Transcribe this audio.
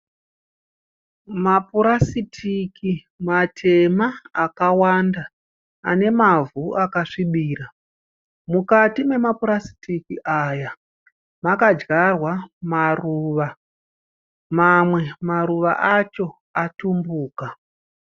Mapurasitiki matema akawanda ane mavhu akasvibira. Mukati mema purasitiki aya makadyarwa maruva. Mamwe maruva acho atumbuka.